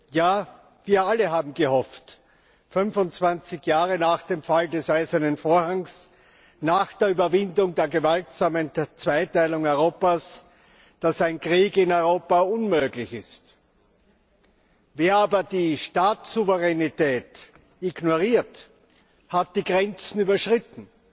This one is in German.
Ja, wir alle haben gehofft 25 Jahre nach dem Fall des Eisernen Vorhangs, nach der Überwindung der gewaltsamen Zweiteilung Europas dass ein Krieg in Europa unmöglich ist. Wer aber die Staatssouveränität ignoriert, hat die Grenzen überschritten.